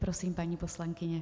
Prosím, paní poslankyně.